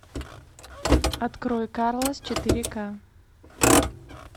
открой карлос четыре ка